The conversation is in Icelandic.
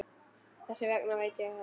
Þess vegna veit ég þetta.